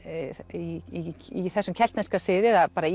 í þessum keltneska sið eða bara